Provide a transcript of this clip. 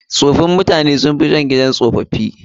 Tsofin mutane sun fi son gidan tsofi.